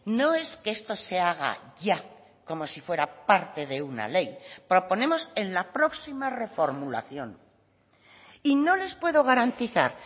no es que esto se haga ya como si fuera parte de una ley proponemos en la próxima reformulación y no les puedo garantizar